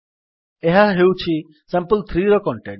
ଏହା ହେଉଛି sample3ର କଣ୍ଟେଣ୍ଟ୍